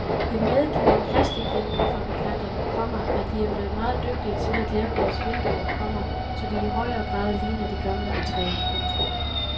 Jeg medgiver plasticvinduefabrikanterne, komma at de er blevet meget dygtigere til at lave deres vinduer, komma så de i højere grad ligner de gamle af træ. punktum